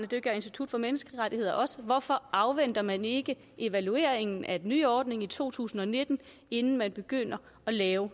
det gør institut for menneskerettigheder også hvorfor afventer man ikke evalueringen af den nye ordning i to tusind og nitten inden man begynder at lave